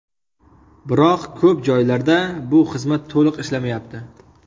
Biroq ko‘p joylarda bu xizmat to‘liq ishlamayapti.